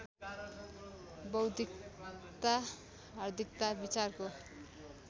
बौद्धिकता हार्दिकता विचारको